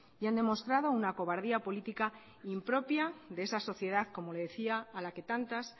y han demostrado una cobardía política impropia de esa sociedad como le decía a la que tantas